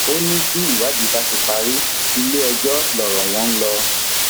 ó ní tí ìwádìí bá ti parí iléẹjọ lọrọ wọn ń lọ